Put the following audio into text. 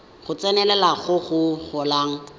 go tsenelela go go golang